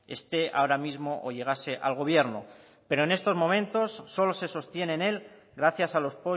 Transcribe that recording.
esté ahora mismo o llegase al gobierno pero en estos momentos solo se sostiene en él gracias a los